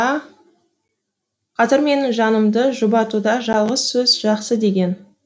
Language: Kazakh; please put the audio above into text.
қазір менің жанымды жұбатуда жалғыз сөз жақсы деген